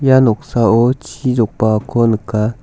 ia noksao chi jokbaako nika.